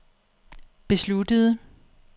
besluttede